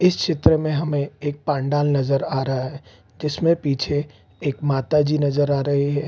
इस चित्र में हमें एक पंडाल नजर आ रहा है जिसमें पीछे एक माताजी नजर आ रही है |